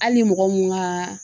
Hali ni mɔgɔ mun ka